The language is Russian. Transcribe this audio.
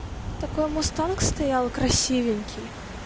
такой мустанг стоял красивенький